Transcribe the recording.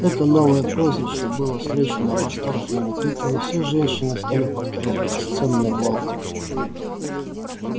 это новое прозвище было встречено восторженными криками всё женщины стали повторять бесценный волк